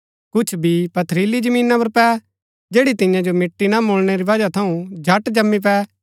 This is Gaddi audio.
कुछ बी पथरीली जमीना पुर पै जैड़ी तियां जो मिट्टी ना मुळणै री बजह थऊँ झट जमीं पै